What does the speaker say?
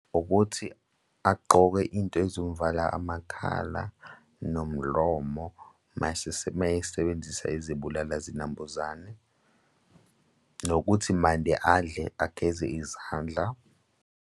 Ukuthi agqoke into ezomvala amakhala nomlomo uma esebenzisa izibulala zinambuzane nokuthi mande adle ageze izandla.